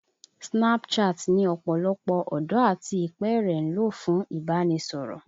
Snapchat ni ọ̀pọ̀lọpọ̀ ọ̀dọ́ àti ìpẹ́ẹ̀rẹ̀ ń lò fún ìbánisọ̀rọ̀